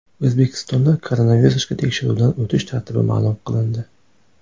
O‘zbekistonda koronavirusga tekshiruvdan o‘tish tartibi ma’lum qilindi.